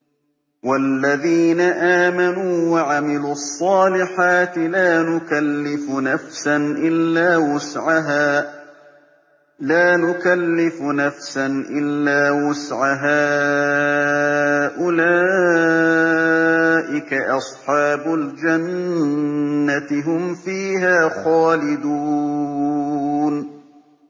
وَالَّذِينَ آمَنُوا وَعَمِلُوا الصَّالِحَاتِ لَا نُكَلِّفُ نَفْسًا إِلَّا وُسْعَهَا أُولَٰئِكَ أَصْحَابُ الْجَنَّةِ ۖ هُمْ فِيهَا خَالِدُونَ